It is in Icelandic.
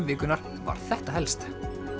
vikunnar var þetta helst